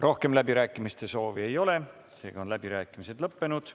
Rohkem läbirääkimiste soovi ei ole, seega on läbirääkimised lõppenud.